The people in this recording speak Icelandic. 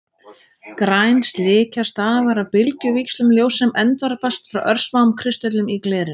Græn slikja stafar af bylgjuvíxlum ljóss sem endurvarpast frá örsmáum kristöllum í glerinu.